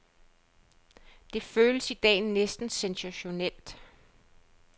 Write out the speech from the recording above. Det føles i dag næsten sensationelt.